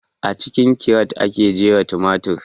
A cikin kiret ake jera tumatir